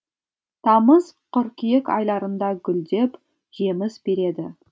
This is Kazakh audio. тамыз қыркүйек айларында гүлдеп жеміс береді